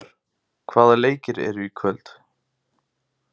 Knörr, hvaða leikir eru í kvöld?